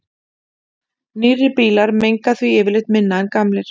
Nýrri bílar menga því yfirleitt minna en gamlir.